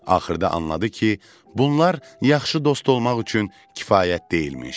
Axırda anladı ki, bunlar yaxşı dost olmaq üçün kifayət deyilmiş.